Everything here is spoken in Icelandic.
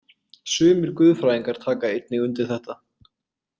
Sumir guðfræðingar taka einnig undir þetta.